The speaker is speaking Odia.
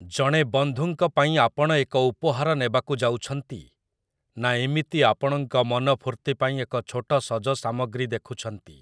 ଜଣେ ବନ୍ଧୁଙ୍କ ପାଇଁ ଆପଣ ଏକ ଉପହାର ନେବାକୁ ଯାଉଛନ୍ତି, ନା ଏମିତି ଆପଣଙ୍କ ମନ ଫୂର୍ତ୍ତି ପାଇଁ ଏକ ଛୋଟ ସଜ ସାମଗ୍ରୀ ଦେଖୁଛନ୍ତି?